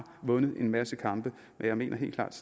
vundet en masse kampe men jeg mener helt klart